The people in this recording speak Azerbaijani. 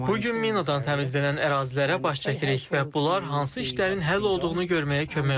Bu gün minadan təmizlənən ərazilərə baş çəkirik və bunlar hansı işlərin həll olduğunu görməyə kömək olur.